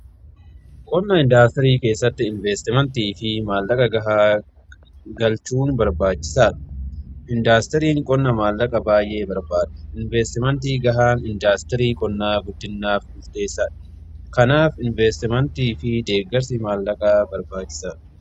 qonna indaastirii keessatti inveestimentii fi maallaqa gahaa galchuun barbaachisaadha. indaastiriin qonnaa maallaqa baay'ee barbaada inveestimentii gahaan indaastirii guddina qonnaaf murteessadha. kanaaf inveestimentii fi deeggarsi maallaqaa barbaachisaadha.